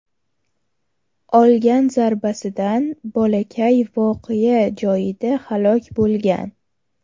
Olgan zarbasidan bolakay voqea joyida halok bo‘lgan.